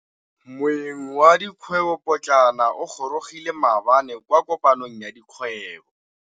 Moêng wa dikgwêbô pôtlana o gorogile maabane kwa kopanong ya dikgwêbô.